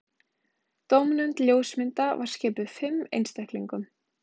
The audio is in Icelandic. Dómnefnd ljósmynda var skipuð fimm einstaklingum